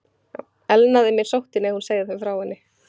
Elnaði mér sóttin, ef hún segði þeim frá henni?